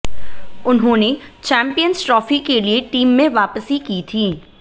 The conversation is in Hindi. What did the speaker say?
उन्होंने चैंपियंस ट्रॉफी के लिए टीम में वापसी की थी